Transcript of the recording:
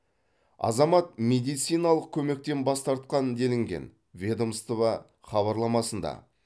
азамат медициналық көмектен бас тартқан делінген ведомство хабарламасында